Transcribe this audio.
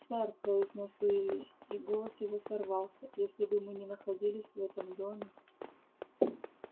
сэр произнёс уилли и голос его сорвался если бы мы не находились в этом доме